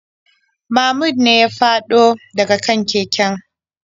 Mahmud ne ya fado da ga kan keken.